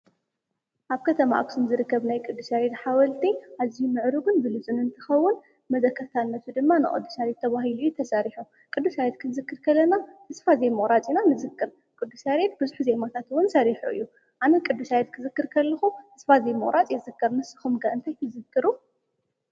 ኣብ ከተማ ኣክሱም ዝርገብ ናይ ቕዱስ ይሬድ ሓወልቲ ኣዚዩ ምዕሩግን ብልጹንን እንትኸውን መዘከትታነቱ ድማ ንቅዱስ ያሬድ ተባሂሉ አዩ ተሰሪሑ፡፡ ቅዱስ ያሬድ ክዝክርከር ከለና ተስፋ ዘይሙቑራፅ ኢና ንዝክር፡፡ ቅዱስ ይሬድ ብዙሕ ዜማታት ውን ሰሪሑ እዩ፡፡ ኣነ ቅዱስ ያሬድ ክዝክር ከለኹ ተስፋ ዘይምቑራጽ እየ ዝዝክር፡፡ ንስኹም እንታይ ትዝክሩ?